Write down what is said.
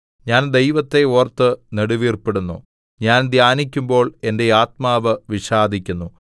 ഞാൻ ദൈവത്തെ ഓർത്ത് നെടുവീർപ്പിടുന്നു ഞാൻ ധ്യാനിക്കുമ്പോൾ എന്റെ ആത്മാവ് വിഷാദിക്കുന്നു സേലാ